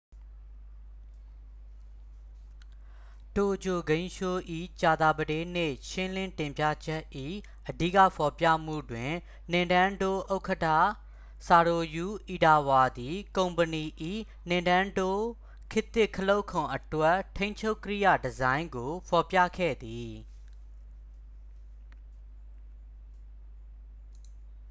တိုကျိုဂိမ်းရှိုး၏ ကြာသပတေးနေ့ ရှင်းလင်းတင်ပြချက်၏ အဓိကဟောပြောမှုတွင် နင်တန်းဒိုး ဥက္ကဌ ဆာတိုရူ အီတာဝါသည် ကုမ္ပဏီ၏ နင်တန်းဒိုး ခေတ်သစ် ခလုတ်ခုံအတွက် ထိန်းချုပ်ကိရိယာ ဒီဇိုင်းကို ဖော်ပြခဲ့သည်